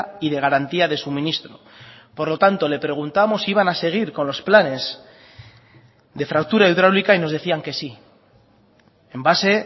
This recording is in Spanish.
y de garantía de suministro por lo tanto le preguntamos si iban a seguir con los planes de fractura hidráulica y nos decían que sí en base